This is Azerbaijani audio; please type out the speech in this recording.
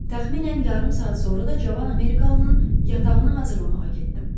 Təxminən yarım saat sonra da Cavan Amerikalının yatağını hazırlamağa getdim.